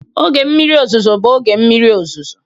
Oge mmiri ọzụzụ bụ oge mmiri ọzụzụ.